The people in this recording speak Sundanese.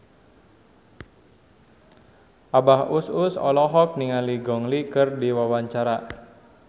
Abah Us Us olohok ningali Gong Li keur diwawancara